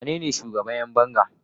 wanene shugaban Yan banga?